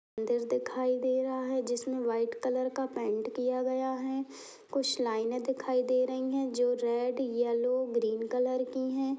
मंदिर दिखाई दे रहा है। जिसमे व्हाइट कलर का पेंट किया गया है। कुछ लाईने दिखाई दे रही हैं जो रेड येल्लो ग्रीन कलर की हैं।